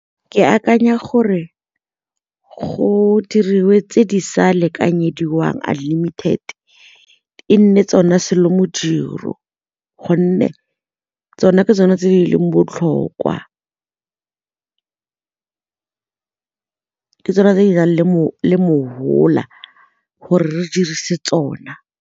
Ke akanya gore go diriwe tse di sa lekanyediwang unlimited, e nne tsona modiro gonne tsona ke tsone tse di leng botlhokwa, ke tsone tse di nang le mo mosola gore re dirise tsona.